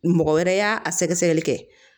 Mɔgɔ wɛrɛ y'a a sɛgɛsɛgɛli kɛ